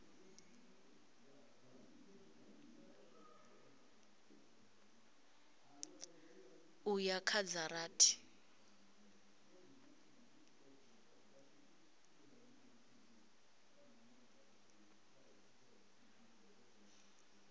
u ya kha dza rathi